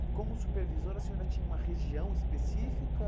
E como supervisora, a senhora tinha uma região específica?